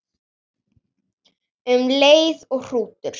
Um leið og hrútur